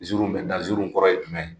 zirinw bɛ da, zirinw kɔrɔ ye jumɛn ye?